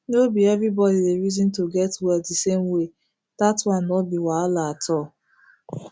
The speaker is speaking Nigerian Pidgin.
nor be everybody dey reason to get well the same way that one nor be wahala at all